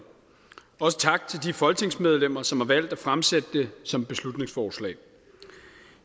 også sige tak til de folketingsmedlemmer som har valgt at fremsætte det som beslutningsforslag